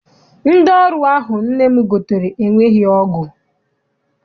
Ndị ọrụ ahụ nne m gotere enweghị ọgụ.